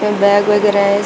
ये बैग वगैरा है इस--